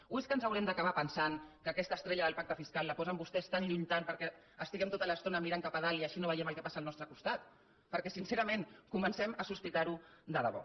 o és que ens haurem d’acabar pensant que aquesta estrella del pacte fiscal la posen vostès tan lluny tant perquè estiguem tota l’estona mirant cap a dalt i així no veiem el que passa al nostre costat perquè sincerament comencem a sospitar ho de debò